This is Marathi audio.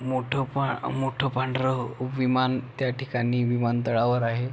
मोठ पा मोठ पांढर विमान त्या ठिकाणी विमानतळावर आहे.